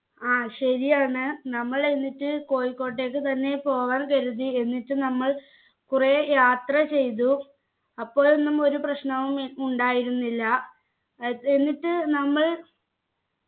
ആ ശരിയാണ് നമ്മൾ എന്നിട്ട് കോഴിക്കോട്ടേക്ക് തന്നെ പോവാൻ കരുതി എന്നിട്ട് നമ്മൾ കുറെ യാത്ര ചെയ്തു അപ്പോഴൊന്നും ഒരു പ്രശ്നവുമി ഉണ്ടായിരുന്നില്ല ഏർ എന്നിട്ട് നമ്മൾ